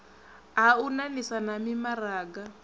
ha u ṋaṋisana na mimaraga